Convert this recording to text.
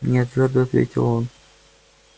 нет твёрдо ответил он